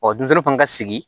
denmisɛnw fana ka sigi